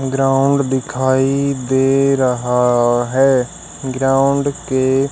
ground दिखाई दे रहा है ग्राउंड के--